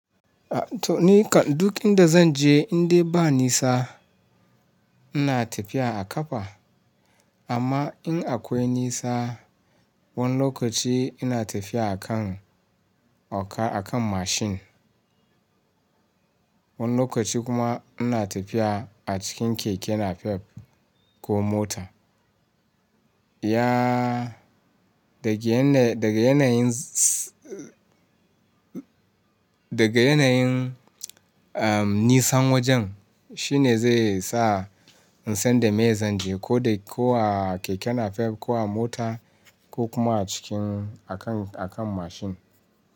To nika duk inda zan je indai ba nisa ina tafiya a ƙafa amma in akwai nisa wani lokaci ina tafiya a kan oka a kan mashin, wani lokaci kuma ina tafiya a cikin keke napep ko mota. Iya daga yanayin, daga yanayin, daga yanayin am nisan wajen shine zai sa insan da meye zanje ko da ko a keke napep ko a mota, ko kuma a cikin a kan, a kan mashin.